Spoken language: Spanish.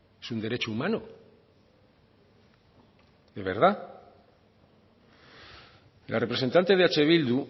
es un derecho humano de verdad la representante de eh bildu